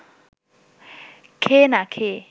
খেয়ে না খেয়ে